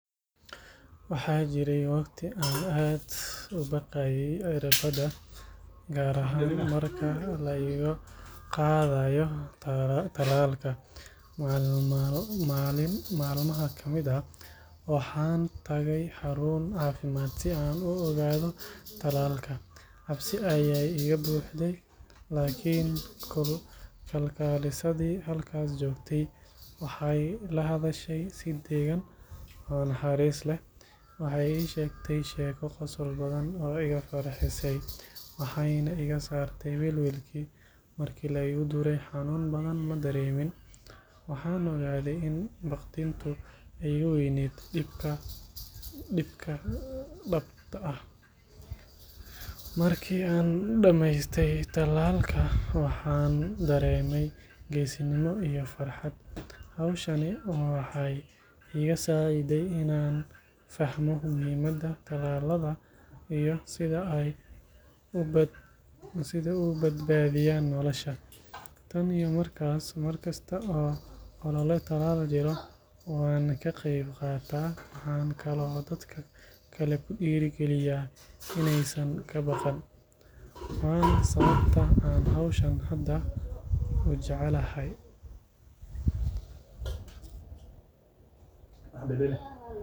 Waxaa jiray waqti aan aad u baqayay cirbadda, gaar ahaan marka la iga qaadayo tallaalka. Maalin maalmaha ka mid ah, waxaan tagay xarun caafimaad si aan u qaato tallaalka. Cabsi ayaa iga buuxday, laakiin kalkaalisadii halkaas joogtay waxay la hadashay si deggan oo naxariis leh. Waxay ii sheegtay sheeko qosol badan oo iga farxisay, waxayna iga saartay welwelkii. Markii la igu duray, xanuun badan ma dareemin. Waxaan ogaaday in baqdintu ay iga weynayd dhibka dhabta ah. Markii aan dhameystay tallaalka, waxaan dareemay geesinimo iyo farxad. Hawshaasi waxay iga saaciday inaan fahmo muhiimadda tallaalada iyo sida ay u badbaadiyaan nolosha. Tan iyo markaas, markasta oo ol’ole tallaal jiro, waan ka qaybqaataa. Waxaan kaloo dadka kale ku dhiirrigeliyaa inaysan ka baqan. Waana sababta aan hawshan hadda u jeclahay.